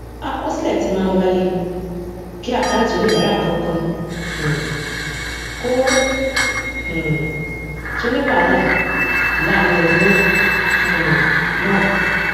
àkọsílẹ tí máa ń wáyé kí àkáǹtì oníbàárà kankan um kò um tó ní wàhálà láàárín ọdún um náà